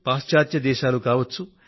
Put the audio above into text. పాశ్చాత్య దేశాలు కావచ్చు